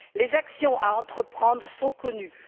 Les actions à entreprendre sont connues.